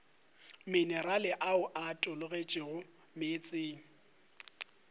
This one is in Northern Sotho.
minerale ao a tologetšego meetseng